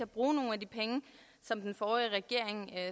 bruge nogle af de penge som den forrige regering